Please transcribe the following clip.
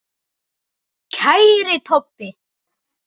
Kæri Tobbi.